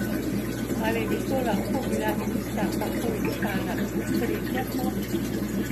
Ali bi to lahko bila tista tako iskana tretja pot?